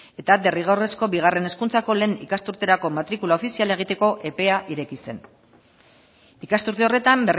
eta derrigorrezko bigarren hezkuntzako lehen ikasturterako matrikula ofiziala egiteko epea ireki zen ikasturte horretan